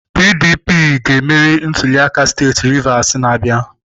PDP ga-emeri ntuliaka steeti Rivers na-abịa.